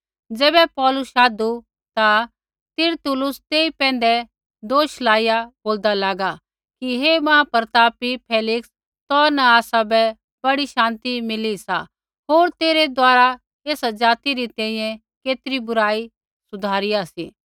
ज़ैबै पौलुस शाधु ता तिरतुल्लुस तेई पैंधै दोष लाइया बोलदा लागा कि हे महाप्रतापी फेलिक्स तौ न आसाबै बड़ी शान्ति मिला सा होर तेरै द्वारा एसा ज़ाति री तैंईंयैं केतरी बुराई सुधारिया सी